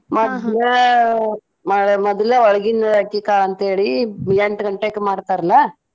ಮದಲೇ ಒಳಗಿನ ಅಕ್ಕಿ ಕಾಳ ಅಂತ ಹೇಳಿ ಎಂಟ ಗಂಟೆಕ ಮಾಡ್ತಾರ್ಲಾ.